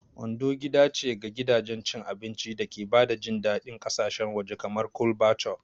Ondo gida ce ga gidajen cin abinci da ke ba da jin daɗin ƙasashen waje kamar Chole Bhature.